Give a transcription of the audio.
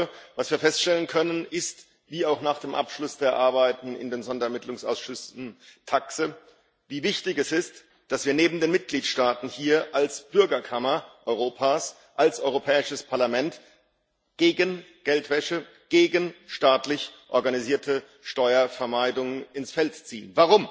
Ich glaube, was wir feststellen können, ist wie auch nach dem Abschluss der Arbeiten im Sonderermittlungsausschuss TAXE wie wichtig es ist, dass wir neben den Mitgliedstaaten hier als Bürgerkammer Europas als Europäisches Parlament gegen Geldwäsche und gegen staatlich organisierte Steuervermeidung, ins Feld ziehen.